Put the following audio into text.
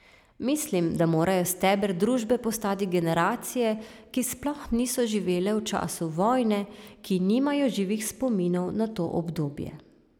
Mislim, da morajo steber družbe postati generacije, ki sploh niso živele v času vojne, ki nimajo živih spominov na to obdobje.